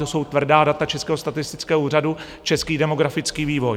To jsou tvrdá data Českého statistického úřadu, český demografický vývoj.